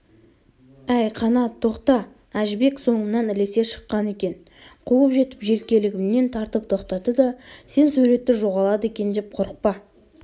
әй қанат тоқта әжібек соңымнан ілесе шыққан екен қуып жетіп желкелігімнен тартып тоқтатты да сен суретті жоғалады екен деп қорықпа